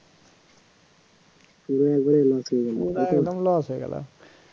পড়ে গিয়ে loss হয়ে গেল